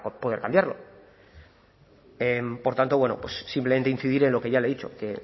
poder cambiarlo por tanto bueno pues simplemente incidir en lo que ya le he dicho que